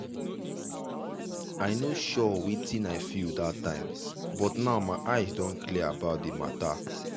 i no sure wetin i feel that time but now my eyes don clear about the mata.